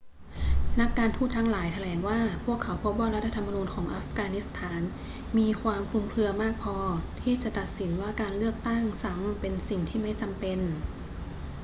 นักการทูตทั้งหลายแถลงว่าพวกเขาพบว่ารัฐธรรมนูญของอัฟกานิสถานมีความคลุมเครือมากพอที่จะตัดสินว่าการเลือกตั้งซ้ำเป็นสิ่งที่ไม่จำเป็น